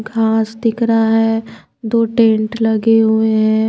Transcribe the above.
घास दिख रहा है दो टेंट लगे हुए हैं।